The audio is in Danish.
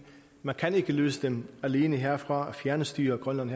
man kan ikke løse dem alene herfra og fjernstyre grønland